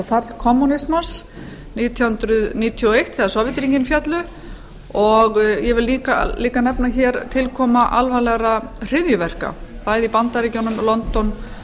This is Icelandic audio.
fall kommúnismans nítján hundruð níutíu og eitt þegar sovétríkin féllu og ég vil líka nefna hér tilkomu alvarlegra hryðjuverka bæði í bandaríkjunum london